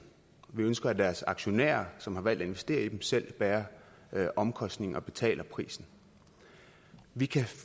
vi ønsker at deres aktionærer som har valgt at investere i dem selv bærer omkostningerne og betaler prisen vi